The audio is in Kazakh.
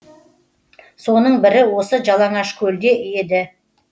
соның бірі осы жалаңашкөлде еді